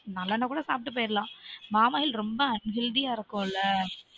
நல்ல எண்ண கூட சாப்டு போய்டுரலான் பாமாயில் ரொம்ப unhealthy யா இருக்கும் இல்ல